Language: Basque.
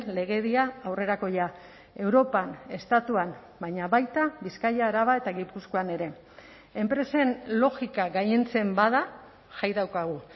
legedia aurrerakoia europan estatuan baina baita bizkaia araba eta gipuzkoan ere enpresen logika gailentzen bada jai daukagu